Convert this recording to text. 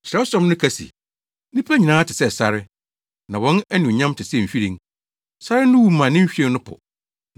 Kyerɛwsɛm no ka se, “Nnipa nyinaa te sɛ sare; na wɔn anuonyam te sɛ nhwiren. Sare no wu ma ne nhwiren no po,